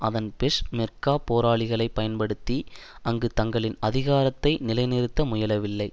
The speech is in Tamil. அதன் பெஷ் மெர்கா போராளிகளை பயன்படுத்தி அங்கு தங்களின் அதிகாரத்தை நிலைநிறுத்த முயலவில்லை